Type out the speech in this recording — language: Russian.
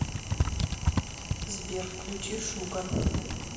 сбер включи шугар